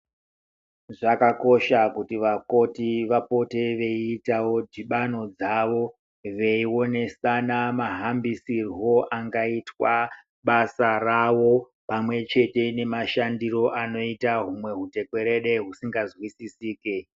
Zvakakosha kuti vakoti vapote veiitavo dhibano dzavo veionesana mahambisirwo angaite basa ravo. Pamwe chete nemashandiro anoite humwe hutekwerede husinga zwisisike.